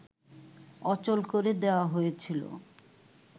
অচল করে দেয়া হয়েছিল